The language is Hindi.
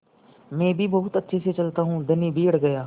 मैं भी बहुत अच्छे से चलता हूँ धनी भी अड़ गया